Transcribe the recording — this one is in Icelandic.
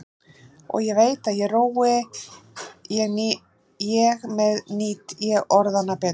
Og ég veit að rói ég með nýt ég orðanna betur.